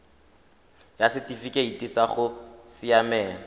ya setifikeite sa go siamela